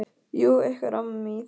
Jú, eitthvað rámar mig í það.